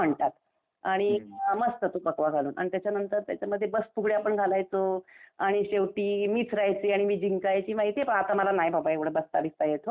आणि मस्त तो फकवा घालून आणि त्याच्यानंतर त्याच्यामध्ये बस फुगड्या पण घालायचो, आणि शेवटी मीच रहायचे आणि मी जिंकायचे पण आता मला नाही बाबा एवढं बसता बिसता येत फुगडी घालता.